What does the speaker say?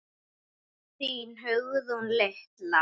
Þín Hugrún litla.